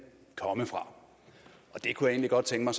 komme fra jeg kunne egentlig godt tænke